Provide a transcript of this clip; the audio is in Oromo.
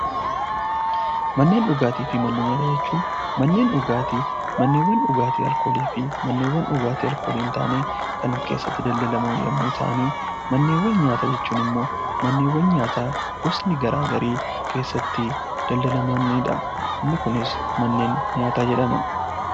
Manneen dhugaatii fi manneen nyaataa jechuun manneen dhugaatii, manneewwan dhugaatii aalkoolii fi manneewwan dhugaatii aalkoolii hin taanee Kan keessatti daldalaman yemmuu ta'an, Manneewwan nyaataa jechuun ammoo manneewwan nyaataa gosni garaagarii keessatti daldalamanidha. Inni Kunis manneen nyaataa jedhama.